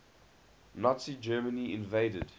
nazi germany invaded